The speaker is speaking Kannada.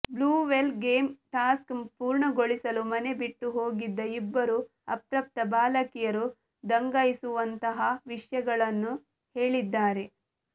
ಬ್ಲೂ ವೇಲ್ ಗೇಮ್ ಟಾಸ್ಕ್ ಪೂರ್ಣಗೊಳಿಸಲು ಮನೆ ಬಿಟ್ಟು ಹೋಗಿದ್ದ ಇಬ್ಬರು ಅಪ್ರಾಪ್ತ ಬಾಲಕಿಯರು ದಂಗಾಗಿಸುವಂತಹ ವಿಷ್ಯಗಳನ್ನು ಹೇಳಿದ್ದಾರೆ